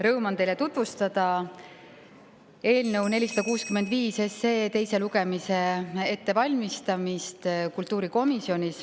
Rõõm on teile tutvustada eelnõu 465 teise lugemise ettevalmistamist kultuurikomisjonis.